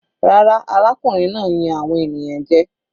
Rárá, arákùnrin náà ń yan àwọn ènìyàn jẹ.